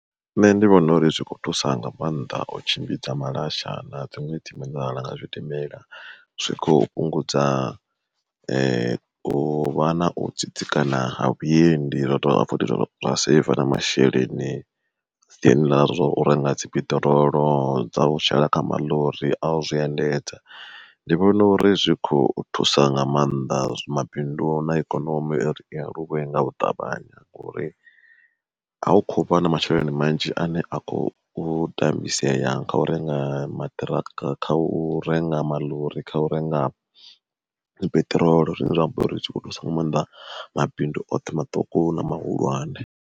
Nṋe ndi vhona uri zwikho thusa nga mannḓa u tshimbidza malasha na dziṅwe nga zwidimela zwi khou fhungudza uvha na u tsitsikana ha vhuendi zwa dovha futhi zwa saiva na masheleni siani ḽa zwa u renga dzi peṱirolo dza u shela kha maḽori au zwi endedza. Ndi vhona uri zwi kho thusa nga maanḓa zwi mabindu na ikonomi uri i aluwe nga u ṱavhanya ngori a u kho vha na masheleni manzhi ane a khou tambisea nga u renga maṱiraka kha u renga maḽori kha u renga peṱirolo zwine zwa amba uri zwi kho thusa nga maanḓa mabindu oṱhe maṱuku na mahulwane.